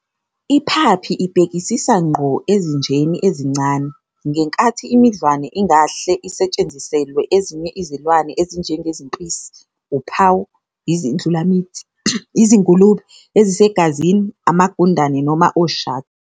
I-Puppy ibhekisisa ngqo ezinjeni ezincane, ngenkathi imidlwane ingahle isetshenziselwe ezinye izilwane ezinjengezimpisi, uphawu, izindlulamthi, izingulube ezisegazini, amagundane noma oshaka.